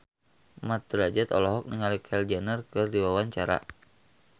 Mat Drajat olohok ningali Kylie Jenner keur diwawancara